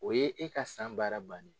O ye e ka san baara ban ne ye.